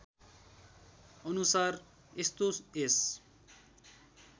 अनुसार यस्तो यस